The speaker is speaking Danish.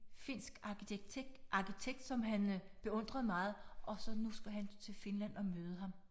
Finsk arkitekt som han beundrede meget og så nu skulle han til Finland og møde ham